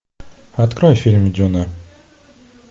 открой фильм джона